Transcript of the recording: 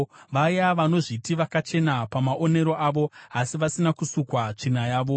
vaya vanozviti vakachena pamaonero avo asi vasina kusukwa tsvina yavo;